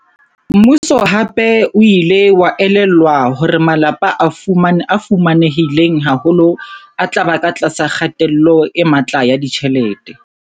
Mmuso hape o ile wa elellwa hore malapa a fuma nehileng haholo a tla ba ka tlasa kgatello e matla ya ditjhelete.